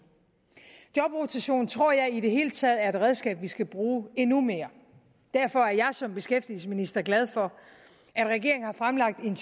jobrotation tror jeg i det hele taget er et redskab som vi skal bruge endnu mere derfor er jeg som beskæftigelsesminister glad for at regeringen har fremlagt en